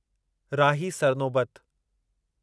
Rahi Sarnobat